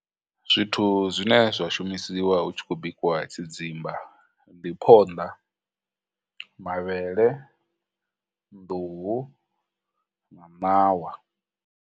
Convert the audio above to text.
Zwithu zwine zwa shumisiwa hu tshi khou bikiwa tshidzimba ndi phonḓa, mavhele, nḓuhu, na ṋawa.